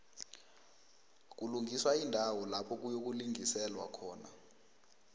kulungiswa iindawo lapha kuyokulingiselwa khona